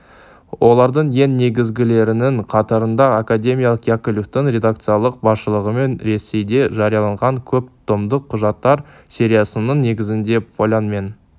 олардың ең негізгілерінің қатарында академик яковлевтің редакциялық басшылығымен ресейде жарияланған көп томдық құжаттар сериясының негізінде полян мен